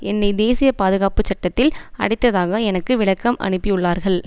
என்னை தேசிய பாதுகாப்பு சட்டத்தில் அடைத்ததாக எனக்கு விளக்கம் அனுப்பியுள்ளார்கள்